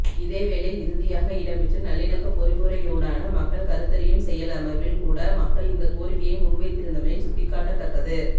இதேவேளை இறுதியாக இடம்பெற்ற நல்லிணக்க பொறிமுறையூடான மக்கள் கருத்தறியும் செயலமர்வில் கூட மக்கள் இந்த கோரிக்கையை முன்வைத்திருந்தமை சுட்டிக்காட்டத்தக்கது